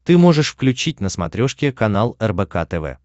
ты можешь включить на смотрешке канал рбк тв